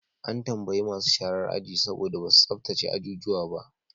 An tambayi masu sharar aji saboda ba su tsabtace ajuju su ba.